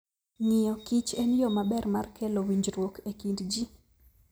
Ng'iyo kich en yo maber mar kelo winjruok e kind ji.